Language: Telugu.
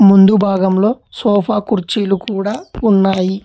ముందు భాగంలో సోఫా కుర్చీలు కూడా ఉన్నాయి.